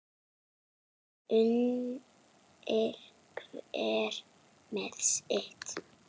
Unir hver með sitt.